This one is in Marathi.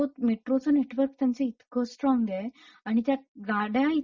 मेट्रो मेट्रोचं नेटवर्क त्यांचं इतकं स्ट्रॉंग आहे; आणि त्यात गाड्या